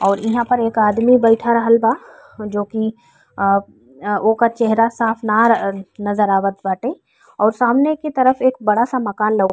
और इहा पर के आदमी बइठ रहल बा जोकि अप अ ओक चेहरा साफ नार अ नजर आवत बाटे और सामने के तरफ एक बड़ा सा मकान लउक --